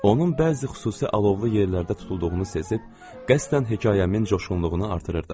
Onun bəzi xüsusi alovlu yerlərdə tutulduğunu sezib, qəsdən hekayəmin coşğunluğunu artırırdım.